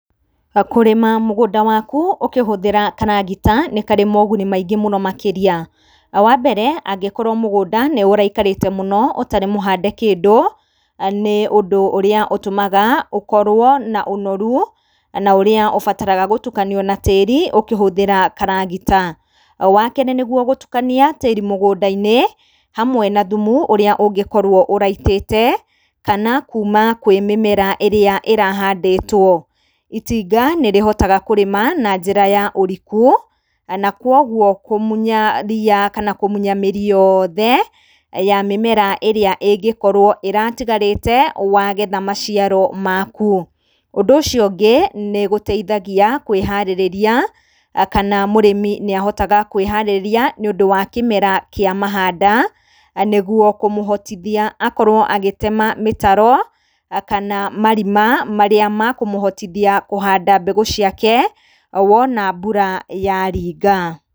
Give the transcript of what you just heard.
Kũrĩma mũgũnda waku ũkĩhũthĩra karagita nĩ karĩ moguni maingĩ mũno makĩria. Wa mbere, angĩkorwo mũgũnda nĩ ũraikarĩte mũno ũtarĩ mũhande kĩndũ, nĩ ũndũ ũrĩa ũtũmaga ũkorwo na ũnoru na ũrĩa ũbataraga gũtukanio na tĩĩri ũkĩhũthĩra karagita. Wa kerĩ, nĩguo gũtukania tĩĩri mũgũnda-inĩ hamwe na thumu ũrĩa ũngĩkorwo ũraitĩte, kana kuma kwĩ mĩmera ĩrĩa ĩrahandĩtwo. Itinga nĩrĩhotaga kũrĩma na njĩra ya ũriku na koguo kũmunya ria kana kũmunya mĩri yothe ya mĩmera ĩrĩa ĩngĩkorwo ĩratigarĩte wagetha maciaro maku. Ũndũ ũcio ũngĩ, nĩ gũteithagia kũĩharĩrĩria kana mũrĩmi nĩ ahotaga kwĩharĩrĩria, nĩũndũ wa kĩmera kĩa mahanda, nĩguo kũmũhotithia akorwo agĩtema mĩtaro kana marima marĩa makũmũhotithia kũhanda mbegũ ciake wona mbura yaringa.